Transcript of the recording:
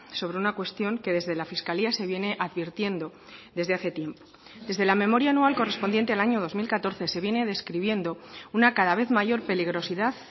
sobre una cuestión que desde la fiscalía se viene advirtiendo desde hace tiempo desde la memoria anual correspondiente al año dos mil catorce se viene describiendo una cada vez mayor peligrosidad